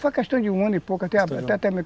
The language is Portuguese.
Foi questão de um ano e pouco, até